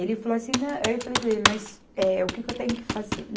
Ele falou assim nã, aí eu falei para ele, mas eh, o que que eu tenho que fazer?